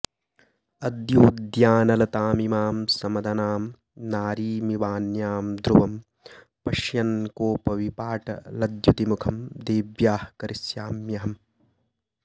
अद्योद्यानलतामिमां समदनां नारीमिवान्यां ध्रुवं पश्यन् कोपविपाटलद्युति मुखं देव्याः करिष्याम्यहम्